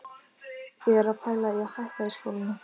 Ég er að pæla í að hætta í skólanum.